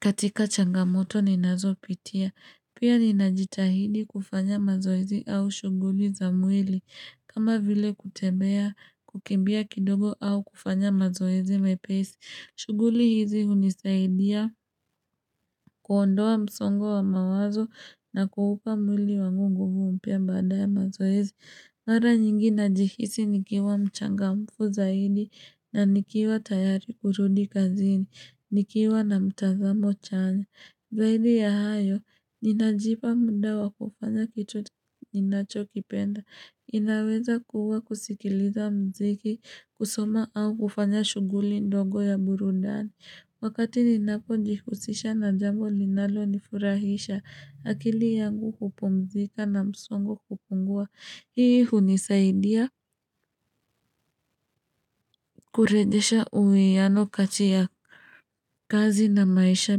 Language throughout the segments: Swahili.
katika changamoto ninazopitia. Pia ninajitahidi kufanya mazoezi au shughuli za mwili. Kama vile kutembea kukimbia kidogo au kufanya mazoezi mepesi. Shughuli hizi hunisaidia kuondoa msongo wa mawazo na kuupa mwili wangu nguvu mpya baada ya mazoezi. Mara nyingi najihisi nikiwa mchangamfu zaidi na nikiwa tayari kurudi kazini, nikiwa na mtazamo chanya. Zaidi ya hayo, ninajipa mda wa kufanya kitu ninachokipenda. Inaweza kuua kusikiliza mziki, kusoma au kufanya shuguli ndogo ya burudani. Wakati ninapojihusisha na jambo linalonifurahisha akili yangu hupumzika na msongo kupungua. Hii hunisaidia kurejesha uwiano kati ya kazi na maisha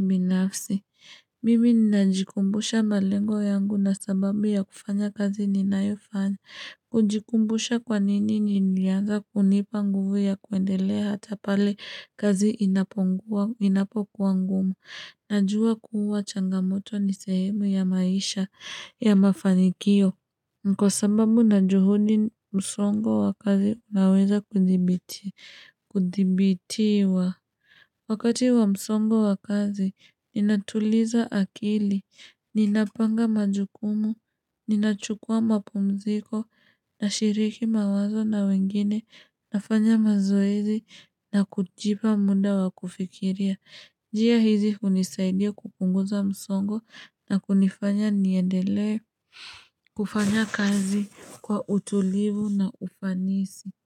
binafsi. Mimi ninajikumbusha malengo yangu na sababu ya kufanya kazi ninayofanya. Kujikumbusha kwa nini nilianza kunipa nguvu ya kuendelea hata pale kazi inapongua, inapokuwa ngumu. Najua kuwa changamoto ni sehemu ya maisha ya mafanikio. Kwa sababu na juhudi msongo wa kazi unaweza kudhibitiwa. Wakati wa msongo wa kazi, ninatuliza akili, ninapanga majukumu, ninachukua mapumziko, nashiriki mawazo na wengine, nafanya mazoezi, na kujipa muda wa kufikiria. Njia hizi hunisaidia kupunguza msongo na kunifanya niendele kufanya kazi kwa utulivu na ufanisi.